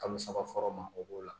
Kalo saba fɔlɔ ma o b'o la